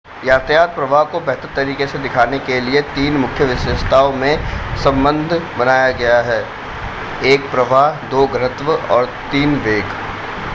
यातायात प्रवाह को बेहतर तरीके से दिखाने के लिए तीन मुख्य विशेषताओं में संबंद्ध बनाया गया है: 1 प्रवाह 2 घनत्व और 3 वेग।